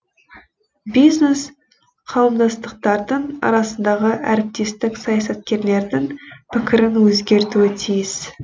бизнес қауымдастықтардың арасындағы әріптестік саясаткерлердің пікірін өзгертуі тиіс